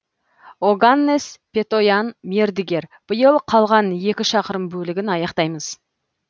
оганнес петоян мердігер биыл қалған екі шақырым бөлігін аяқтаймыз